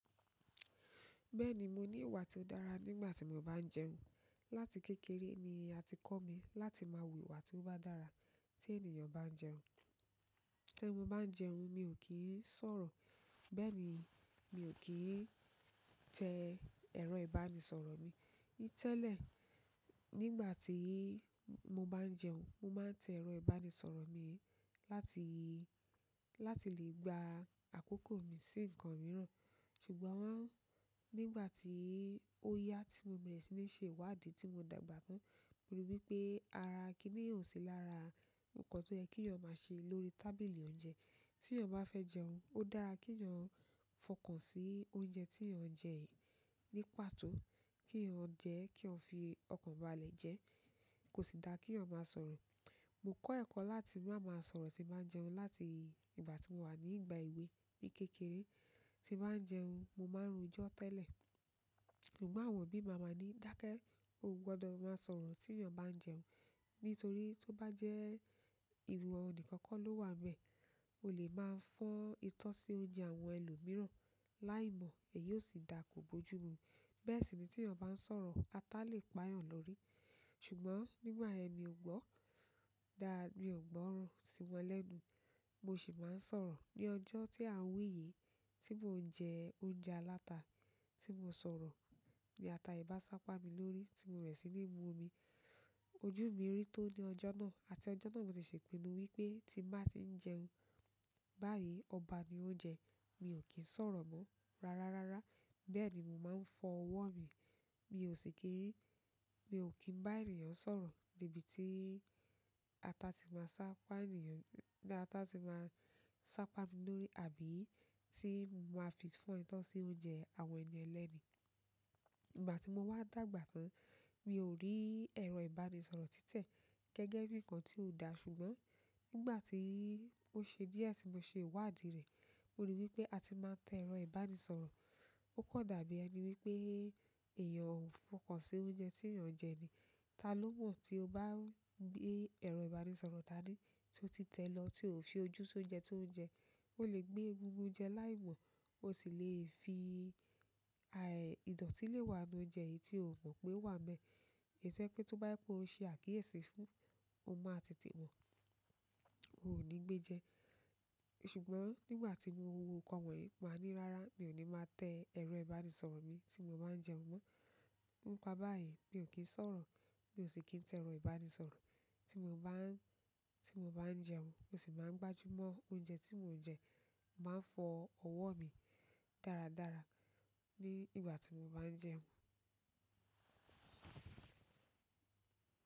Bẹ́ẹ̀ni mo ni ìwà ti o dára nígbà ti mo ba n jẹun. Láti kékeré ni a ti kọ́ mi láti máa wu ìwà tó bá dára tí ènìyàn bá ń jẹun. Tí mo bá ń jẹun, mi ò kí ń sọ̀rọ̀. Bẹ́ẹ̀ ni, mi ò kí ń tẹ ẹrọ ìbánisọ̀rọ̀ mi. Tẹ́lẹ̀, nígbà tí mo bá ń jẹun, mo máa ń tẹ ẹrọ ìbánisọ̀rọ̀ mi láti, láti lè gba àkókò mi sí nǹkan mìíràn. Ṣùgbọ́n wọ́n, nígbà tí ó yá tí mo berẹ̀ sí ni ṣe ìwádìí tí mo dàgbà tán, mo ríi wí pé ara kíní yìí ò sí lára nǹkan tó yẹ kí eeyan ma ṣe lórí tábìlì oúnjẹ. Tí eeyan bá fẹ́ jẹun, ó dára kí eeyan fọkàn sí oúnjẹ tí eeyan ń jẹ yìí ni pàtó, kí eeyan jẹ́, kí eeyan fi ọkàn balẹ̀ jẹ́, kò sì dáa kí eeyan máa sọ̀rọ̀. Mo kọ́ ẹ̀kọ́ láti má máa sọ̀rọ̀ tí bà n jẹun láti ìgbà tí mo wà ní ìgbà èwe mi kékeré. Ti n bá n jẹun, mo máa rojọ tẹ́lẹ̀. Ṣùgbọ́n àwọn òbí mi a máa ní, "Dáke, o ò gbọdọ̀ máa sọ̀rọ̀ tí eeyan bá ń jẹun." Nítorí tó bá jẹ́ ìwọ nìkan kó ló wà n bẹ́ẹ̀, o lè máa fọ́n itọ́ sí oúnjẹ àwọn ẹlòmíràn láìmọ̀, èyí ó sì dáa kò bojú mu. Bẹ́ẹ̀ sì ni tí eeyan bá ń sọ̀rọ̀, ata lè pa eeyan lórí. Ṣùgbọ́n nígbà yen mi ò gbọ́, dàá mi ò gbọ́ran sí wọn lẹ́nu. Mo sì máa ń sọ̀rọ̀. Ni ọjọ́ tí à ń wi yìí, tí mò ń jẹ oúnjẹ aláta tí mo sọ̀rọ̀ ní ata yìí bá sá pá mi lórí tí mo berẹ̀ sí ni mu omi, ojú mi rí tó ní ọjọ́ náà. Àti ọjọ́ náà mo ti ṣe ipinnú wípé tí n bá ti ń jẹun báyìí, ọba ni ó ń jẹ́, mi ò kí ń sọ̀rọ̀ mọ́. Rárá, rárá. Bẹ́ẹ̀ ni mo máa ń fọ ọwọ́ mi. Mi si kin mio kin ba ènìyàn sọ̀rọ̀ níbi tí ata ti máa sá pá ènìyàn, ní ata ti máa sá pá mi lórí àbí tí màá fi fọ́n itọ́ sí oúnjẹ àwọn ènì ẹlẹ́ni. Nígbà tí mo wá dàgbà tán, mi ò rí ẹrọ ìbánisọ̀rọ̀ títẹ̀ gẹ́gẹ́ bí nǹkan tí ò dáa. Ṣùgbọ́n nígbà tí ó ṣe díẹ̀ tí mo ṣe ìwádìí rẹ̀, mo ríi wí pé àti máa te ẹrọ ìbánisọ̀rọ̀, ó kàn dàbí ẹni wipé èèyàn ó ń fọkàn sí oúnjẹ tí èèyàn ń jẹ ni. Ta ló mọ̀ tí o bá gbe ẹrọ ìbánisọ̀rọ̀ daní tió ti tẹ̀ lọ tí ò fi ojú sí oúnjẹ tí ó ń jẹ? Ó lè gbe egungun jẹ láìmọ̀. Ó sì lè fi, ìdọ̀tí lè wà nínú òunje yìí tí ò mọ̀ pé o wà nbẹ́. Tio je pé tó bá je pe i ṣe àkíyèsí fún, o máa tètè mọ́. O ò ní gbé jẹ. Ṣùgbọ́n nígbà tí mo wo nǹkan wọ̀nyí, màá ní, "Rárá, mi ò ní máa tẹ́ ẹrọ ìbánisọ̀rọ̀ mi tí mo bá ń jẹun mọ́." nípa báyìí, mi ò kí ń sọ̀rọ̀, mi ò sì kí ń tẹ ẹrọ ìbánisọ̀rọ̀ tí mo bá ń, tí mo bá ń jẹun. Mo sì máa ń gbájú mọ́ oúnjẹ tí mò ń jẹ. Màá fọ ọwọ́ mi dáradára ní ìgbà tí mo bá ń jẹun.